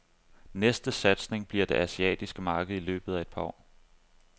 Næste satsning bliver det asiatiske marked i løbet af et par år.